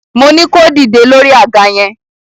Moní kó dìde lórí àga yẹn!